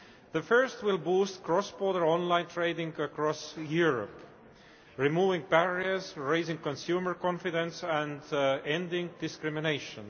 The first will boost cross border online trading across Europe removing barriers, raising consumer confidence and ending discrimination.